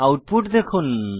output দেখুন